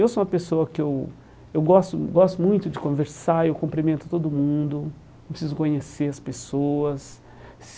Eu sou uma pessoa que eu eu gosto gosto muito de conversar, eu cumprimento todo mundo, não preciso conhecer as pessoas.